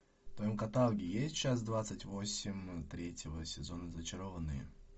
в твоем каталоге есть часть двадцать восемь третьего сезона зачарованные